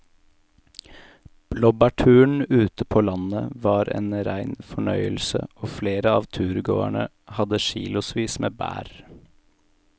Blåbærturen ute på landet var en rein fornøyelse og flere av turgåerene hadde kilosvis med bær.